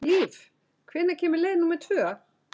Líf, hvenær kemur leið númer tvö?